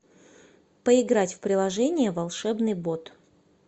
поиграть в приложение волшебный бот